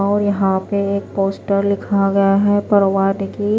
और यहां पे एक पोस्टर लिखा गया है प्रवान कि --